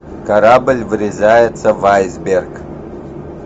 корабль врезается в айсберг